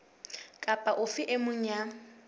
kapa ofe e mong ya